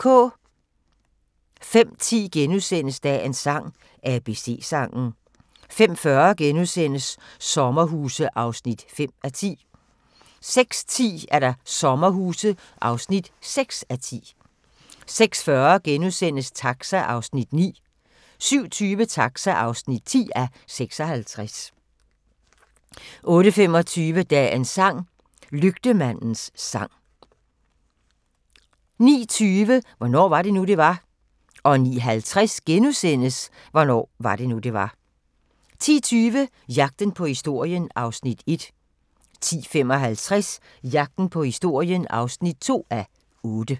05:10: Dagens sang: ABC-sangen * 05:40: Sommerhuse (5:10)* 06:10: Sommerhuse (6:10) 06:40: Taxa (9:56)* 07:20: Taxa (10:56) 08:25: Dagens sang: Lygtemandens sang 09:20: Hvornår var det nu, det var? 09:50: Hvornår var det nu, det var? * 10:20: Jagten på historien (1:8) 10:55: Jagten på historien (2:8)